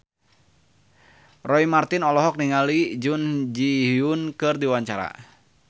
Roy Marten olohok ningali Jun Ji Hyun keur diwawancara